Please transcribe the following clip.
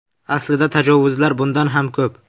Aslida, tajovuzlar bundan ham ko‘p.